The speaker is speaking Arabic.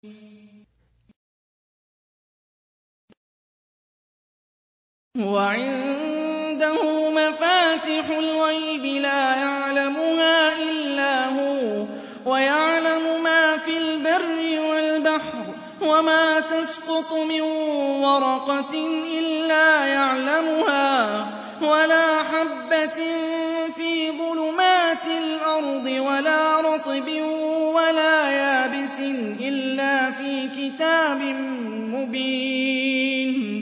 ۞ وَعِندَهُ مَفَاتِحُ الْغَيْبِ لَا يَعْلَمُهَا إِلَّا هُوَ ۚ وَيَعْلَمُ مَا فِي الْبَرِّ وَالْبَحْرِ ۚ وَمَا تَسْقُطُ مِن وَرَقَةٍ إِلَّا يَعْلَمُهَا وَلَا حَبَّةٍ فِي ظُلُمَاتِ الْأَرْضِ وَلَا رَطْبٍ وَلَا يَابِسٍ إِلَّا فِي كِتَابٍ مُّبِينٍ